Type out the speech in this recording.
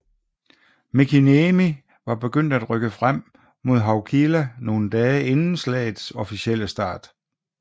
Mäkiniemi var begyndt at rykke frem mod Haukila nogle dage inden slaget officielle start